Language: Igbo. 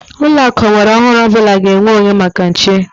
Ụlọakụ ọgbaraọhụrụ ọbụla ga-enwe onyoko maka nche.